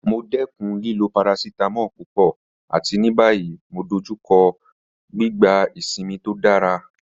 Mo dẹkun lilo paracetamol pupọ̀, àti ní báyìí mo dọ̀jùkọ́ lọ́rí gbígbà ìṣínmi tó dára